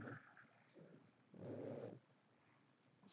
Né? Sim. Eh.